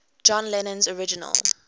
john lennon's original